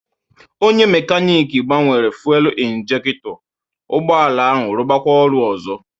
Onye mekanic gbanwere fuelu injekto, ụgbọala ahụ rubakwa ọrụ ozo